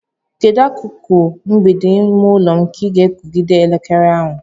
Kedu akụkụ mgbidi ime ụlọ m ga-ekogide elekere ahụ?